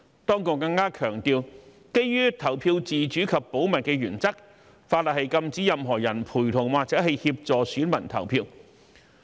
當局更強調，基於投票自主及保密原則，法例禁止任何人陪同或協助選民投票。